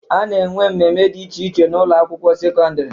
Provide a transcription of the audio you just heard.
A na-enwe mmemme dị iche iche n'Ụlọ akwụkwọ sekọndrị